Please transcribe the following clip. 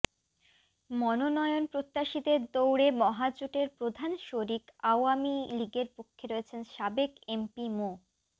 মনোনয়ন প্রত্যাশীদের দৌড়ে মহাজোটের প্রধান শরিক আওয়ামী লীগের পক্ষে রয়েছেন সাবেক এমপি মো